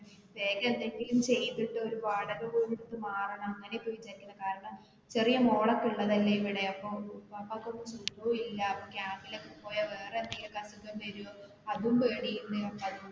ഇവിടേക്ക എന്തേലും ചെയ്തിട്ട് ഒരു വാടക വീട് എടുത്തു മാറണം അങ്ങനെ ഇപ്പൊ വിചാരിക്കണേ കാരണം ചെറിയ മോളൊക്കെ ഉള്ളതല്ലേ ഇവിടെ അപ്പൊ വാപ്പാക്ക് ഒട്ടും സുഗോം ഇല്ല അപ്പൊ camp ൽ ഒക്കെ പോയ വേറെ എന്തെങ്കിലും ഒക്കെ അസുഖം വരോ അതും പേടി.